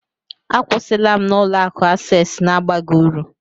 Akwụsịla m na Ụlọ akụ Access na-abaghị uru